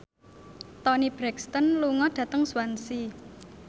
Toni Brexton lunga dhateng Swansea